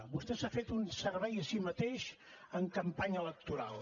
vostè s’ha fet un servei a si mateix en campanya electoral